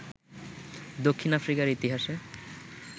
দক্ষিণ আফ্রিকার ইতিহাসে